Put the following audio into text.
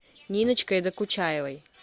ниночкой докучаевой